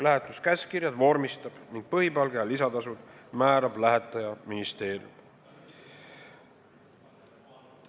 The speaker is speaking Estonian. Lähetuskäskkirjad vormistab ning põhipalga ja lisatasud määrab lähetajaministeerium.